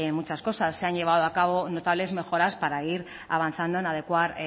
muchas cosas se han llevado a cabo notables mejoras para ir avanzando en adecuar